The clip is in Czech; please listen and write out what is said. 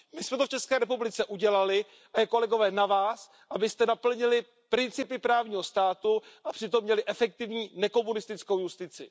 My jsme to v České republice udělali a je kolegové na vás, abyste naplnili principy právního státu a přitom měli efektivní nekomunistickou justici.